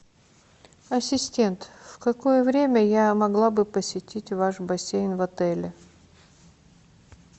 ассистент в какое время я могла бы посетить ваш бассейн в отеле